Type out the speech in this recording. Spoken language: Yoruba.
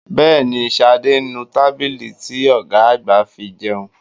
Bẹ́ẹ̀ni, Ṣadé ń nu tábìlì ti ọ̀gá àgbà fi jẹun